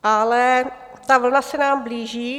Ale ta vlna se nám blíží.